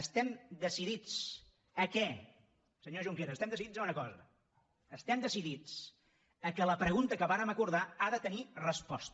estem decidits a què senyor junqueras estem decidits a una cosa estem decidits que la pregunta que vàrem acordar ha de tenir resposta